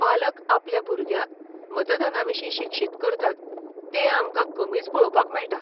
पालक आपल्या भुरग्यांक मतदानाविशीं शिक्षीत करतात तें आमकां कमीच पळोवपाक मेळटा.